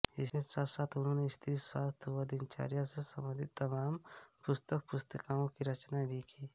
इसके साथसाथ उन्होंने स्त्रीस्वास्थ्य व दिनचर्या से संबंधित तमाम पुस्तकपुस्तिकाओं की रचना भी की